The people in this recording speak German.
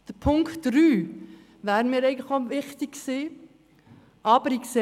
Punkt 3 wäre mir auch wichtig gewesen.